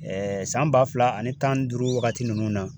Ɛɛ san ba fila ani tan ni duuru wagati nunnu na